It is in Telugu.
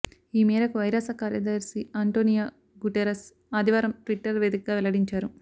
ఈ మేరకు ఐరాస కార్యదర్శి ఆంటోనియో గుటెరస్ ఆదివారం ట్విటర్ వేదికగా వెల్లడించారు